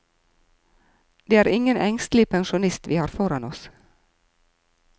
Det er ingen engstelig pensjonist vi har foran oss.